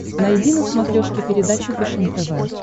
найди на смотрешке передачу фэшен тв